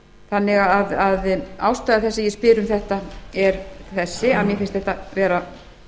þannig að ástæða þess að ég spyr um þetta er þessi að mér finnst þetta vera